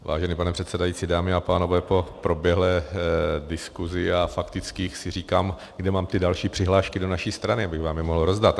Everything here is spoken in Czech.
Vážený pane předsedající, dámy a pánové, po proběhlé diskuzi a faktických si říkám, kde mám ty další přihlášky do naší strany, abych vám je mohl rozdat.